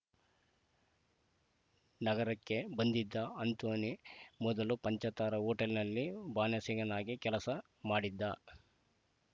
ನಗರಕ್ಕೆ ಬಂದಿದ್ದ ಅಂಥೋನಿ ಮೊದಲು ಪಂಚತಾರಾ ಹೋಟೆಲ್‌ನಲ್ಲಿ ಬಾಣಸಿಗನಾಗಿ ಕೆಲಸ ಮಾಡಿದ್ದ